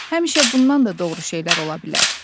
Həmişə bundan da doğru şeylər ola bilər.